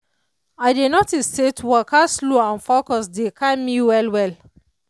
i dey notice say to waka slow and focus dey calm me well well.